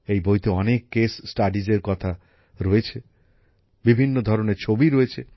এই বইতে অনেক ঘটনার কথা রয়েছে বিভিন্ন ধরনের ছবি রয়েছে